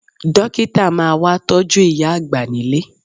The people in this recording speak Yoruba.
Dókítà máa wá tọ́jú ìyá àgbà nílé